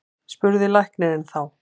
spurði læknirinn þá.